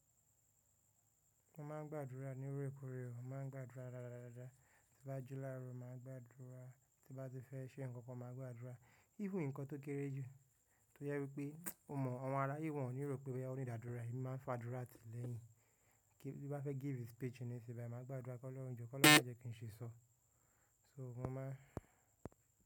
Mo máa ń gbàdúrà ní orekoore o, màá ń gbàdúrà dáadáa. Ti n bá jù láro, máa gbàdúrà. Ti bá ti fẹ́ ṣe nǹkan kan, mà á gbàdúrà. Even nǹkan tó kéré jù, tó jẹ wípé o mọ̀ àwọn ará yìí wọn ò ní rò pé boya o need ádúrà, èmi máa ń fàdúrà ti lẹ́yìn. Kí n bá fẹ́ give speech nísìsiyìí bai, mà á gbàdúrà kọ́lohun jo kolohun ma je kin si sọ. So mo máa ń.